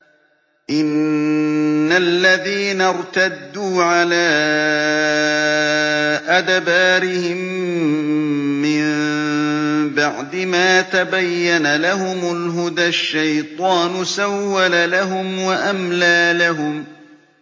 إِنَّ الَّذِينَ ارْتَدُّوا عَلَىٰ أَدْبَارِهِم مِّن بَعْدِ مَا تَبَيَّنَ لَهُمُ الْهُدَى ۙ الشَّيْطَانُ سَوَّلَ لَهُمْ وَأَمْلَىٰ لَهُمْ